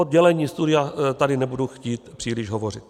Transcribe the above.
O dělení studia tady nebudu chtít příliš hovořit.